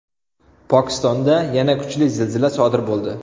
Pokistonda yana kuchli zilzila sodir bo‘ldi.